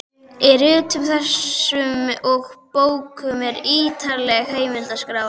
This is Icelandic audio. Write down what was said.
Í ritum þessum og bókum eru ýtarlegar heimildaskrár.